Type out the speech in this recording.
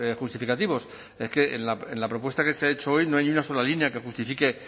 significativos es que en la propuesta que se ha hecho hoy no hay ni una sola línea que justifique